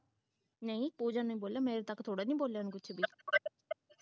ਨਹੀਂ ਪੂਜਾ ਨੇ ਬੋਲਿਆ ਮੇਰੇ ਤੱਕ ਥੋੜਾ ਨਹੀਂ ਬੋਲਿਆ ਉਹਨੇ ਕੋਈ